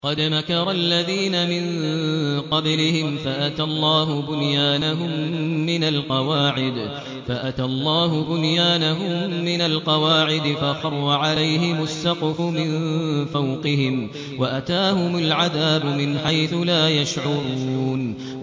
قَدْ مَكَرَ الَّذِينَ مِن قَبْلِهِمْ فَأَتَى اللَّهُ بُنْيَانَهُم مِّنَ الْقَوَاعِدِ فَخَرَّ عَلَيْهِمُ السَّقْفُ مِن فَوْقِهِمْ وَأَتَاهُمُ الْعَذَابُ مِنْ حَيْثُ لَا يَشْعُرُونَ